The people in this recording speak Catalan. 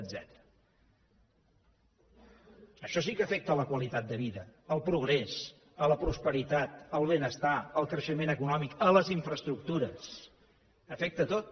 això sí que afecta la qualitat de vida el progrés la prosperitat el benestar el creixement econòmic les infraestructures afecta a tot